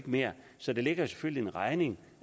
mere så der ligger selvfølgelig en regning